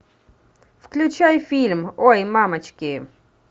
включай фильм ой мамочки